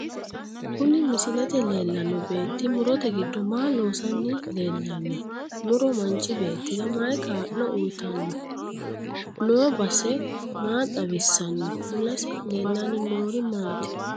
Kuni misilete leelano beeti murote giddo maa loosanni leellano muro manchi beetira mayii kaa'lo uyiitanno noo base maa xawisanno mulese leelanni noori maati